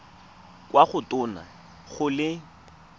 kwa go tona go le